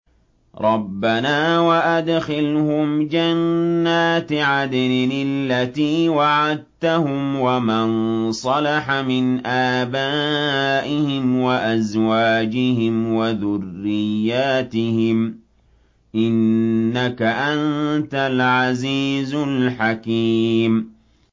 رَبَّنَا وَأَدْخِلْهُمْ جَنَّاتِ عَدْنٍ الَّتِي وَعَدتَّهُمْ وَمَن صَلَحَ مِنْ آبَائِهِمْ وَأَزْوَاجِهِمْ وَذُرِّيَّاتِهِمْ ۚ إِنَّكَ أَنتَ الْعَزِيزُ الْحَكِيمُ